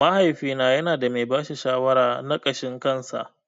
Mahaifina yanada mai bashi shawara na ƙashin kansa.